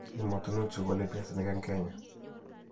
Emotinwek che golei piasinik eng' Kenya: